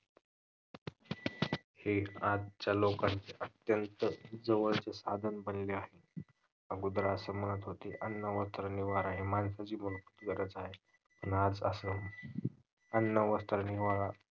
हे एक आजच्या लोकांचा अत्यंत जवळचा साधन बनले आहे. अगोदर असे म्हणत होते अन्न, वस्त्र, निवारा हे माणसाची मूलभूत गरज आहेत. पण आज अस अन्न, वस्त्र, निवारा